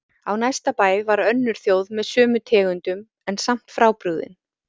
Á næsta bæ var önnur þjóð með sömu tegundum en samt frábrugðin.